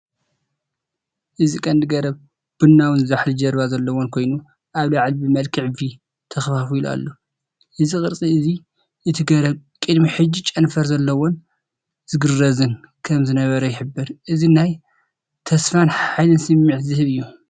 እዚ ቀንዲ ገረብ ቡናዊን ዛሕሊ ጅርባ ዘለዎ ኮይኑ፡ ኣብ ላዕሊ ብመልክዕ ‘V’ ተኸፋፊሉ ኣሎ። እዚ ቅርጺ እዚ እቲ ገረብ ቅድሚ ሕጂ ጨንፈር ዘለዎን ዝግረዝን ከም ዝነበረ ይሕብር። እዚ ናይ ተስፋን ሓይልን ስምዒት ዝህብ እዩ።